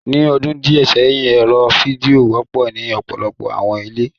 Ni ọdun diẹ sẹhin, ẹrọ fidio wọpọ ni ọpọlọpọ awọn ile